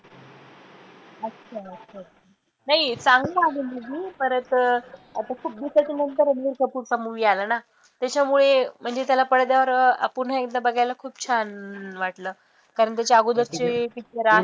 अच्छा अच्छा, नाही चांगला आहे movie परत अं आता खूप दिवसाच्यानंतर पुढचा movie आला ना त्याच्यामुळे म्हणजे त्याला पडद्यावर अं पुन्हा एकदा बघायला खूप छान वाटलं कारण त्याच्या अगोदरचे किती तरी